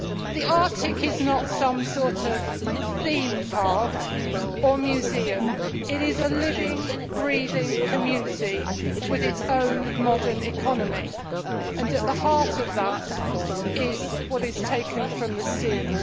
The Arctic is not some sort of theme park or museum it is a living, breathing community with its own modern economy and at the heart of that is what is taken from the seas.